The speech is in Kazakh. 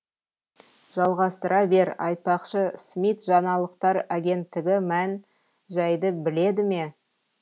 жалғастыра бер айтпақшы смит жаңалықтар агенттігі мән жайды біледі ме